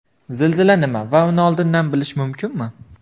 Zilzila nima va uni oldindan bilish mumkinmi?